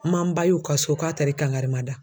N man n ba y'u ka so k'a taara i kankari mada.